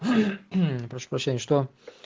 прошу прощения что